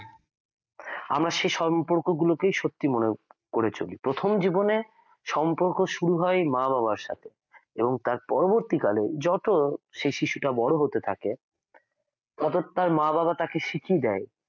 আমরা সেই সম্পর্ক গুলোকেই সত্যি মনে করে চলি প্রথম জীবনে সম্পর্ক শুরু হয় মা-বাবার সাথে এবং তার পরবর্তীকালে যত সেই শিশুটা বড় হতে থাকে তত তার মা-বাবার শিখে দেয়